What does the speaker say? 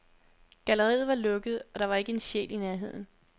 Galleriet var lukket, og der var ikke en sjæl i nærheden.